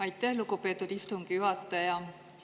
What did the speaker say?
Aitäh, lugupeetud istungi juhataja!